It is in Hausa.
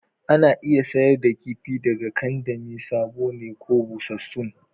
Ana iya sayar da kifi daga kandami sabo ne ko busassun